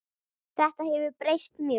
Þetta hefur breyst mjög.